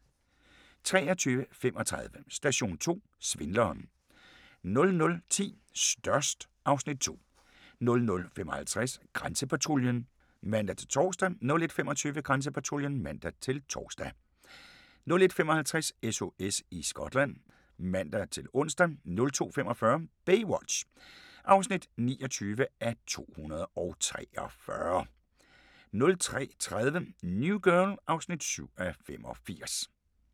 23:35: Station 2: Svindleren 00:10: Størst (Afs. 2) 00:55: Grænsepatruljen (man-tor) 01:25: Grænsepatruljen (man-tor) 01:55: SOS i Skotland (man-ons) 02:45: Baywatch (29:243) 03:30: New Girl (7:85)